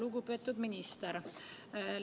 Lugupeetud minister!